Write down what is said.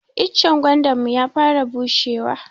Icen gwandanmu ya fara bushe wa.